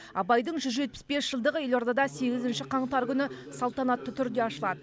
абайдың жүз жетпіс бес жылдығы елордада сегізінші қаңтар күні салтанатты түрде ашылады